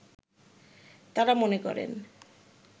তাঁরা মনে করেন